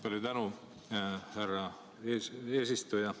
Palju tänu, härra eesistuja!